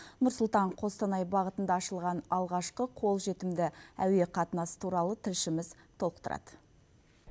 нұр сұлтан қостанай бағытында ашылған алғашқы қолжетімді әуе қатынасы туралы тілшіміз толықтырады